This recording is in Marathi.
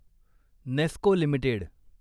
नेस्को लिमिटेड